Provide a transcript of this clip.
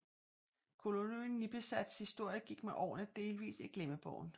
Kolonien Nipisats historie gik med årene delvis i glemmebogen